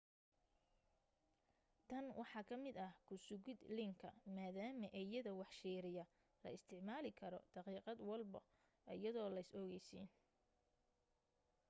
tan waxaa ka mida kusugid leenka maadama eeyada wax shiiriya la isticmaali karo daqiiqad walba ayadoo leys ogeysiin